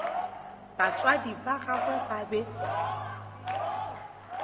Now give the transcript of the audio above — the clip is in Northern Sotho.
batswadi ba gagwe ba be